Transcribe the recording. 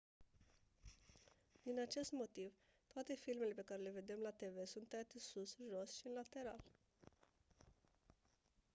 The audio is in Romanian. din acest motiv toate filmele pe care le vedem la tv sunt tăiate sus jos și în lateral